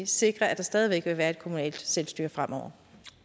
sikre at der stadig væk vil være et kommunalt selvstyre fremover